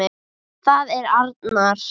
Það er arnar.